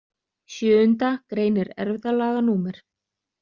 Sjöunda greinir erfðalaga númer